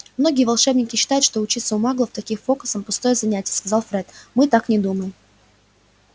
многие волшебники считают что учиться у маглов таким фокусам пустое занятие сказал фред мы так не думаем